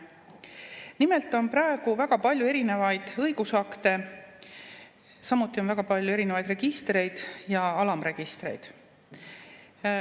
Nimelt on praegu väga palju erinevaid õigusakte, samuti on väga palju erinevaid registreid ja alamregistreid.